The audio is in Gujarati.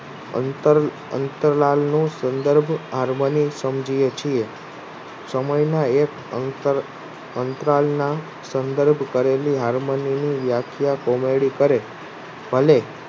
અંતરાલનું સંદર્ભ Harmony સમજીએ છીએ સમયના એક અંતરાલના સંદર્ભ કરેલી Harmony ની વ્યાખ્યા Comady કરે અને